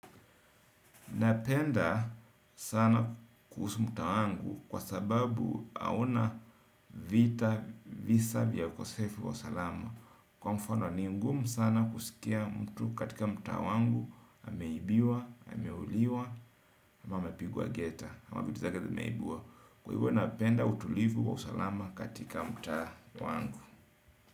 Napenda sana kuhusu mtaa wangu kwa sababu hauna vita visa vya ukosefu wa salama. Kwa mfano ni ungumu sana kusikia mtu katika mtaa wangu, ameibiwa, ameuliwa, ama amepigwa geta, ama vitu zake zimeibiwa kwa hivyo napenda utulivu wa usalama katika mtaa wangu.